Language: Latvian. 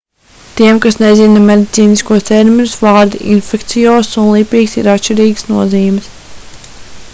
tiem kas nezina medicīniskos terminus vārdi infekciozs' un lipīgs' ir atšķirīgas nozīmes